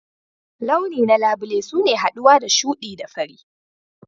Launi na labule suna haɗuwa da shuɗi da fari.